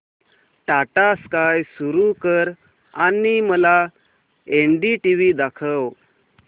Tata Sky सुरू कर आणि मला एनडीटीव्ही दाखव